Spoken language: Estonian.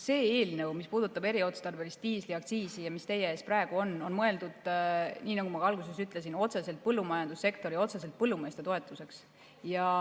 See eelnõu puhul, mis puudutab eriotstarbelist diisliaktsiisi ja mis on praegu teie ees, on mõeldud nii, nagu ma ka alguses ütlesin, otseselt põllumajandussektori, otseselt põllumeeste toetuseks.